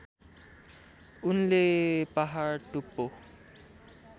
उनले पहाड टुप्पो